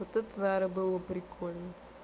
вот это наверно было прикольно